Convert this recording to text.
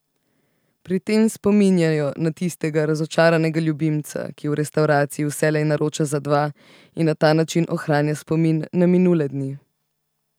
Pri tem spominjajo na tistega razočaranega ljubimca, ki v restavraciji vselej naroča za dva in na ta način ohranja spomin na minule dni ...